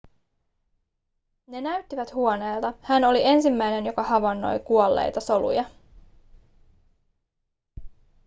ne näyttivät huoneilta hän oli ensimmäinen joka havainnoi kuolleita soluja